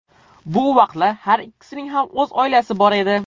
Bu vaqtda har ikkisining ham o‘z oilasi bor edi.